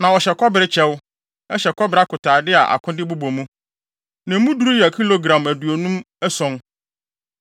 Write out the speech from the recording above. Na ɔhyɛ kɔbere kyɛw, hyɛ kɔbere akotade a akode bobɔ mu, na emu duru yɛ kilogram aduonum ason.